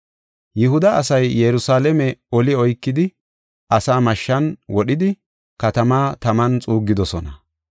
Yihuda asay Yerusalaame oli oykidi asaa mashshan wodhidi, katamaa taman xuuggidosona.